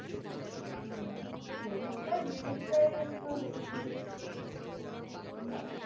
হম credit card জিনিসটাই একটু risky but